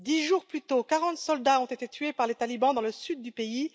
Dix jours plus tôt, 40 soldats ont été tués par les talibans dans le sud du pays.